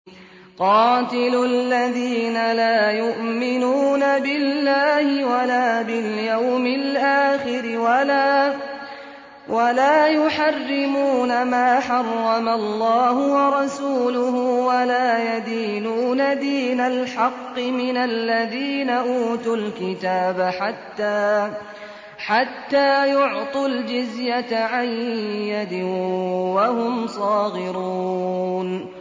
قَاتِلُوا الَّذِينَ لَا يُؤْمِنُونَ بِاللَّهِ وَلَا بِالْيَوْمِ الْآخِرِ وَلَا يُحَرِّمُونَ مَا حَرَّمَ اللَّهُ وَرَسُولُهُ وَلَا يَدِينُونَ دِينَ الْحَقِّ مِنَ الَّذِينَ أُوتُوا الْكِتَابَ حَتَّىٰ يُعْطُوا الْجِزْيَةَ عَن يَدٍ وَهُمْ صَاغِرُونَ